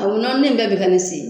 O nɔninin bɛɛ bɛ ka ne se.